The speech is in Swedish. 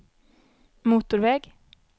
motorväg